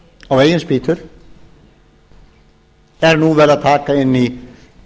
á eigin spýtur er nú verið að taka inn í